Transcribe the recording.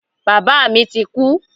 Bàbá mi ti kú.